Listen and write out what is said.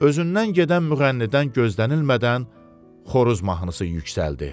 Özündən gedən müğənnidən gözlənilmədən xoruz mahnısı yüksəldi.